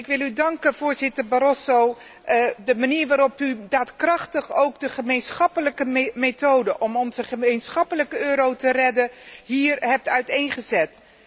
Ik wil u danken, voorzitter Barroso, voor de manier waarop u daadkrachtig ook de gemeenschappelijke methode om onze gemeenschappelijke euro te redden hier hebt uiteengezet.